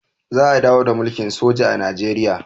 za a dawo da mulkin soji a najeriya